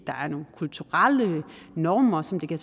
er nogle kulturelle normer som det kan